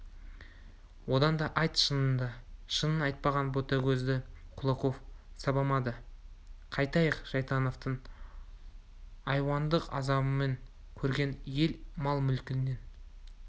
одан да айт шыныңды шынын айтпаған ботагөзді кулаков сабамады қайтайық шайтановтың айуандық азабын көрген ел мал-мүлкінен